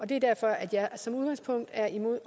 det er derfor jeg som udgangspunkt er imod